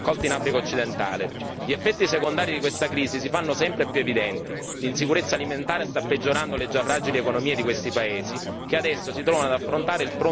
Gli effetti secondari di questa crisi si fanno sempre più evidenti. L'insicurezza alimentare sta peggiorando le già fragili economie di questi paesi che adesso si trovano ad affrontare il pronto collasso delle esportazioni.